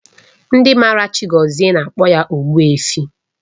Ndị maara Chiagozie na-akpọ ya Ogbuefi